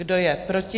Kdo je proti?